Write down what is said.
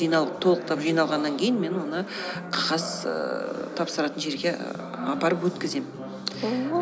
жиналып толықтап жиналғаннан кейін мен оны қағаз ііі тапсыратын жерге ііі апарып өткіземін ооо